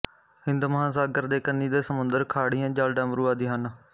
ਹਿੰਦ ਮਹਾਂਸਾਗਰ ਦੇ ਕੰਨੀ ਦੇ ਸਮੁੰਦਰ ਖਾੜੀਆਂ ਜਲਡਮਰੂ ਆਦਿ ਹਨ